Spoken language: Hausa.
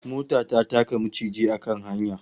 Mota ta taka maciji a kan hanya